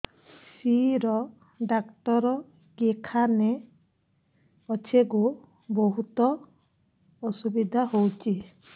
ଶିର doctor କେଖାନେ ଅଛେ ଗୋ ବହୁତ୍ ଅସୁବିଧା ହଉଚି